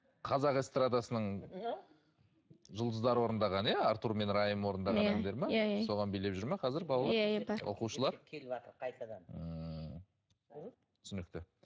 қазақ эстрадасының жұлдыздары орындаған иә артур мен раим орындаған әндер ме иә иә соған билеп жүр ме қазір балалар оқушылар ммм түсінікті